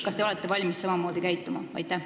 Kas te olete valmis samamoodi käituma?